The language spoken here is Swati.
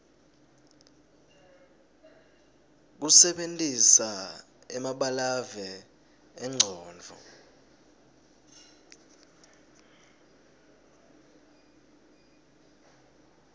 kusebentisa emabalave engcondvo